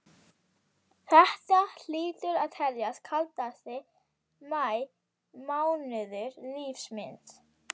Þetta hlýtur að teljast kaldasti maí mánuður lífs míns.